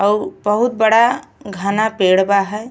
आउ बहुत बड़ा घना पेड़ बा है।